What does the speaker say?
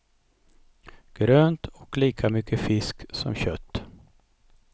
Grönt och lika mycket fisk som kött.